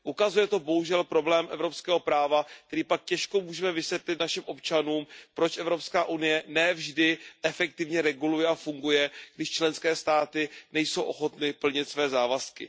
Ukazuje to bohužel problém evropského práva, kdy pak můžeme těžko vysvětlit našim občanům, proč Evropská unie ne vždy efektivně reguluje a funguje, když členské státy nejsou ochotny plnit své závazky.